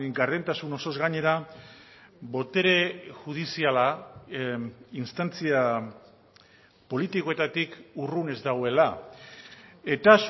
gardentasun osoz gainera botere judiziala instantzia politikoetatik urrun ez dagoela eta